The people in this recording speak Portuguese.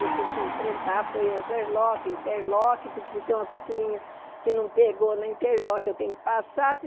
Eu tive que enfrentar, foi overlock, interlock, porque se tem uma costurinha que não pegou no interlock, eu tenho que passar se.